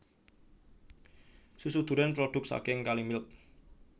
Susu duren produk saking Kalimilk